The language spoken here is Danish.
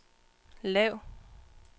lav